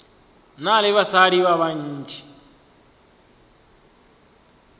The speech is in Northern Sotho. na le basadi ba bantši